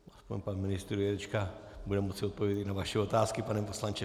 Aspoň pan ministr Jurečka bude moci odpovědět na vaše otázky, pane poslanče.